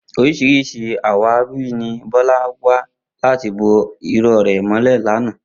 Orís̩irís̩i àwáwí ni Bó̩lá wá láti bo iró̩ rè̩ mó̩lè̩ lánàá